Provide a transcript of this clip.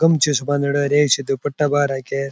गमछे से बांध रखा है एक सीधा पट्टा बा रखा है।